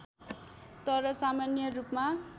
तर सामान्य रूपमा